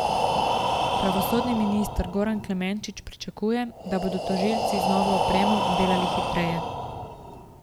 Pravosodni minister Goran Klemenčič pričakuje, da bodo tožilci z novo opremo delali hitreje.